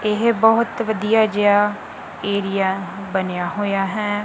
ਇਹ ਬਹੁਤ ਵਧੀਆ ਜਿਹਾ ਏਰੀਆ ਬਣਿਆ ਹੋਇਆ ਹੈ।